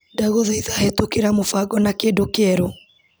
Ndagũthaitha hetũkĩra mũbango na kĩndũ kĩerũ .